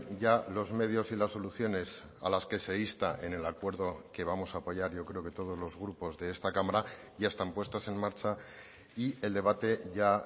ya los medios y las soluciones a las que se insta en el acuerdo que vamos a apoyar yo creo que todos los grupos de esta cámara ya están puestas en marcha y el debate ya